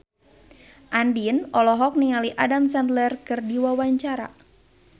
Andien olohok ningali Adam Sandler keur diwawancara